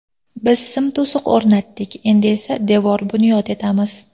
Biz sim to‘siq o‘rnatdik, endi esa devor bunyod etamiz”.